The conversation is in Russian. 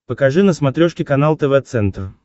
покажи на смотрешке канал тв центр